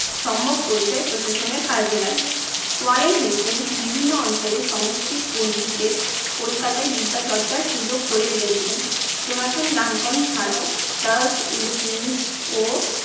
সম্মক পরিচয় প্রশাসনের কাজে লাগে। ওয়ারেন হেস্টিংস বিভিন্ন অঞ্চলের সংস্কৃত পণ্ডিতদের কলকাতায় বিদ্যা চর্চার সুযোগ করে দিয়েছিলেন। জোনাথান ডানকন ছাড়াও চার্লস উইলকিনস ও